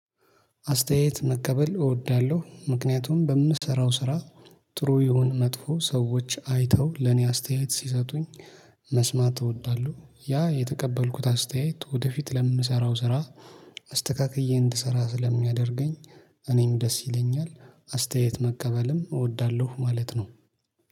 አስተያየት መቀበል እወዳለሁ ምክንያቱም በምሰራው ስራ ጥሩ ይሁን መጥፎ ሰዎች አይተው ለኔ አስተያየት ሲሰጡኝ መስማት እወዳለሁ። ያ የተቀበልኩት አስተያየት ወደፊት ለምሰራው ስራ አስተካክዬ እንድሰራ ስለሚያደርገኝ። እኔም ደስ ይለኛል አስተያየት መቀበልም እወዳለሁ ማለት ነው